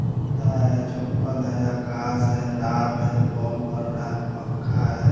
जूता है चप्पल है आकाश है रात है बोल बर रहा है पंखा है।